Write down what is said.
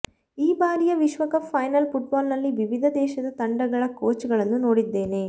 ಈ ಬಾರಿಯ ವಿಶ್ವಕಪ್ ಫೈನಲ್ ಫುಟ್ಬಾಲ್ ನಲ್ಲಿ ವಿವಿಧ ದೇಶದ ತಂಡಗಳ ಕೋಚ್ ಗಳನ್ನು ನೋಡಿದ್ದೇನೆ